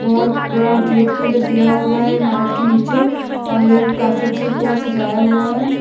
बहुत बड़ा-बड़ा गेट भी उधर दिया हुआ है इमारत के नीचे और इधर काफी अच्छे से पूरा सजाया हुआ है।